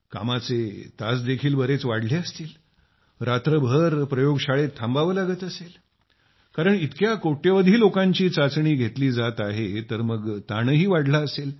कामाचे तास देखील बरेच वाढले असतील रात्रभर प्रयोगशाळेत थांबावे लागत असेल कारण इतक्या कोट्यावधी लोकांची चाचणी घेतली जात आहे तर मग ताणही वाढला असेल